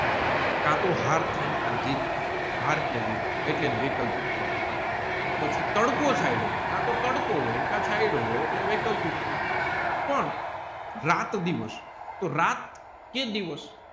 કાતો હાર થાય કાટો જીત થાય હાર કે જીત એટલે એને વૈકલ્પિક કહેવાય પછી તડકો છાંયડો કાતો તડકો હોય કે છાંયડો હોય એટલે વૈકલ્પિક થાય પણ રાત દિવસ તોહ રાત કે દિવસ